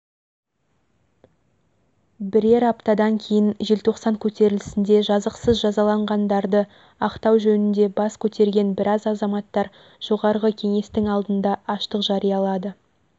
бірер аптадан кейін желтоқсан көтерілісінде жазықсыз жазаланғандарды ақтау жөнінде бас көтерген біраз азаматтар жоғарғы кеңестің алдында аштық жариялады